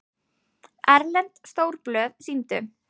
Erlend stórblöð sýndu